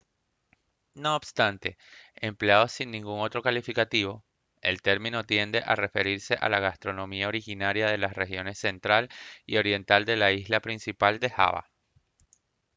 no obstante empleado sin ningún otro calificativo el término tiende a referirse a la gastronomía originaria de las regiones central y oriental de la isla principal de java